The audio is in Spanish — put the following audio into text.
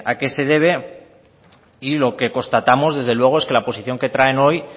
qué se debe y lo que constatamos desde luego es que la posición que traen hoy